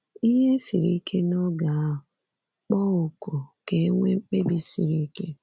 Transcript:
Ihe siri ike n’oge ahụ, kpọọ oku ka e nwee mkpebi siri ike.